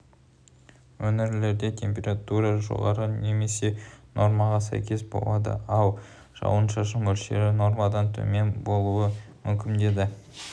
өңірлерде температура жоғары немесе нормаға сәйкес болады ал жауын-шашын мөлшері нормадан төмен болуы мүмкін дейді